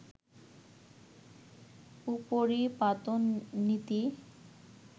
উপরিপাতন নীতি